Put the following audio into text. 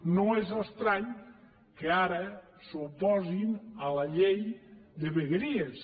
no és estrany que ara s’oposin a la llei de vegueries